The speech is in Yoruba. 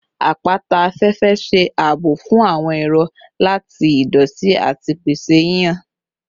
Apata afẹfẹ ṣe aabo fun awọn ero lati idoti ati pese hihan